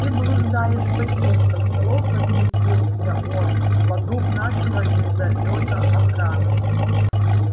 ты блуждаешь в потёмках мэллоу возмутился он вокруг нашего звездолёта охрана